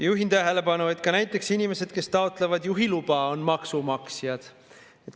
Juhin tähelepanu, et ka näiteks inimesed, kes taotlevad juhiluba, on maksumaksjad.